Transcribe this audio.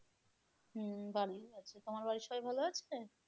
হম ভালোই আছে, তোমার বাড়ির সবাই ভালো আছে?